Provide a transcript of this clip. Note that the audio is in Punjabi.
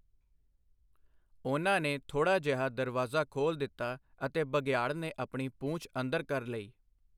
ਉਹਨਾਂ ਨੇ ਥੋੜ੍ਹਾ ਜਿਹਾ ਦਰਵਾਜ਼ਾ ਖੋਲ੍ਹ ਦਿੱਤਾ ਅਤੇ ਬਘਿਆੜ ਨੇ ਆਪਣੀ ਪੂਛ ਅੰਦਰ ਕਰ ਲਈ।